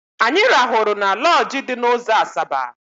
Anyị rahụrụ na lọọjị dị n'ụzọ Asaba.